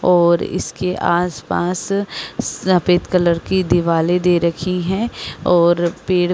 और इसके आसपास सफेद कलर की दीवाले दे रखी हैं और फिर --